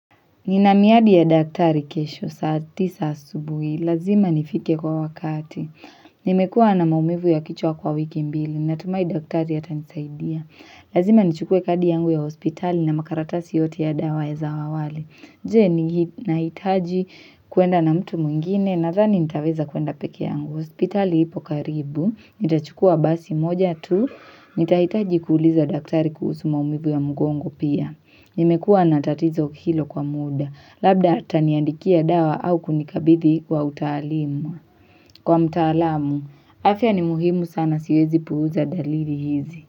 Ninamiadi ya daktari kesho saa tisa asubui, lazima nifike kwa wakati. Nimekua na maumivu ya kichwa kwa wiki mbili, natumai daktari atanisaidia. Lazima nichukue kadi yangu ya hospitali na makaratasi yote ya dawa ya zaawale. Je, nahitaji kuenda na mtu mwingine, nadhani nitaweza kuenda peke yangu. Hospitali ipo karibu, nitachukua basi moja tu, nitahitaji kuuliza daktari kuhusu maumivu ya mgongo pia. Nimekua na tatizo hilo kwa muda, labda ataniandikia dawa au kunikabithi wa utaalimu. Kwa mtaalamu, afya ni muhimu sana siwezi puuza dalili hizi.